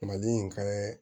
Mali in ka